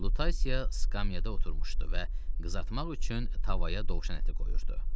Lutasiya skamyada oturmuşdu və qızartmaq üçün tavaya dovşan əti qoyurdu.